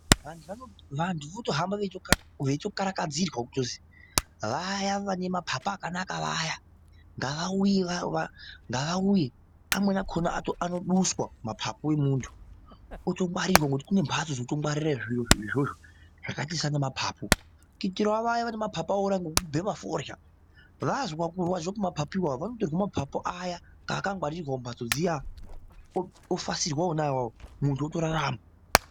Vantu votohamba veitokarakadzirwa kutozi vaya vanemapapu akanaka vaya ngavauya va ngavauye amweni akona anoduswa mapapu emuntu otongwarirwa ngoti kunembatso dzekutongwarire zviro izvozvo zvakaita sana ma papu kuitirawo vaya vanemapapu awora ngekubhema forya vazwe kurwadziwa kwemapapu iwawo panotorwe mapapu aya akangwarirwa mumbatso dziya ofasirwa wona awawo muntu utorarama.